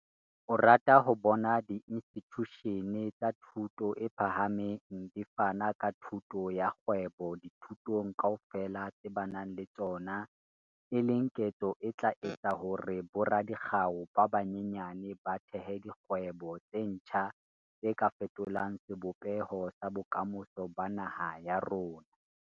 O rata ho bona diinstitjushene tsa thuto e phahameng di fana ka thuto ya kgwebo dithutong kaofela tse ba nang le tsona, e leng ketso e tla etsa hore boradikgau ba banyenyane ba thehe dikgwebo tse ntjha tse ka fetolang sebopeho sa bokamoso ba naha ya rona.